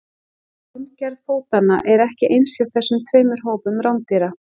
formgerð fótanna er ekki eins hjá þessum tveimur hópum rándýra